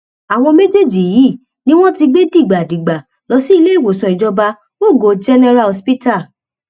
àwọn méjèèjì yìí ni wọn ti gbé dìgbàdìgbà lọ síléèwòsàn ìjọba rogo general hospital